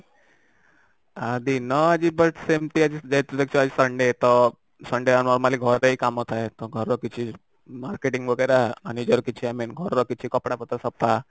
ହଁ ଦିନ ଆଁ ହଁ ସେମିତି ଆଜି ଯେହେତୁ ଦେଖିବା ଆଜି sunday ତ sunday normally ଘରେ କାମ ଥାଏ ତ ଘର କିଛି marketing ୱଗେର ଆଣିବାର କିଛି ମାନେ ଘରର କିଛି କପଡା ପତ୍ର ସପ୍ତାହ